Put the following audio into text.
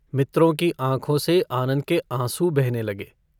मित्रों की आँखों से आनन्द के आँसू बहने लगे।